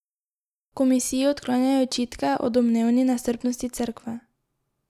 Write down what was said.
V komisiji odklanjajo očitke o domnevni nestrpnosti Cerkve.